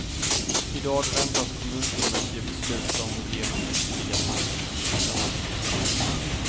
I dag väntas kommunfullmäktige besluta om att ge honom ytterligare frist till sista maj.